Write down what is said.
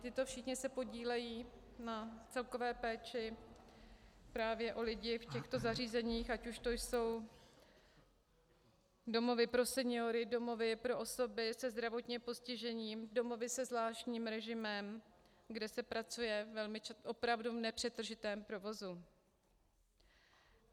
Tito všichni se podílejí na celkové péči právě o lidi v těchto zařízeních, ať už to jsou domovy pro seniory, domovy pro osoby se zdravotním postižením, domovy se zvláštním režimem, kde se pracuje opravdu v nepřetržitém provozu.